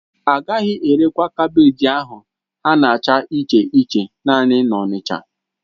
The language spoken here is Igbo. Agaghị erekwa kaabéji ahụ ha na-acha iche iche naanị na Onicha